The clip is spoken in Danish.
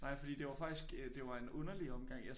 Nej fordi det var faktisk øh det var en underlig omgang